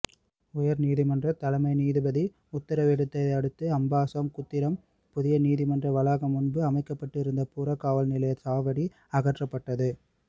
உயர்நீதிமன்றத் தலைமை நீதிபதி உத்தரவிட்டதையடுத்து அம்பாசம்குத்திரம் புதிய நீதிமன்ற வளாகம் முன்பு அமைக்கப்பட்டிருந்த புறக்காவல் நிலைய சாவடி அகற்றப்பட்டது